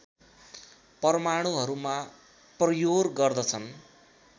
परमाणुहरूमा प्रह्योर गर्दछन्